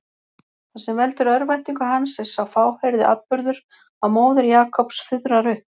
Það sem veldur örvæntingu hans er sá fáheyrði atburður að móðir Jakobs fuðrar upp.